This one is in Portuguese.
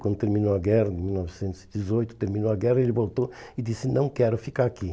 Quando terminou a guerra, em mil novecentos e dezoito, terminou a guerra, ele voltou e disse, não quero ficar aqui.